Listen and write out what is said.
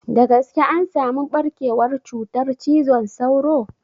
Da gaske an samu ɓarkewar cutar cizon sauro?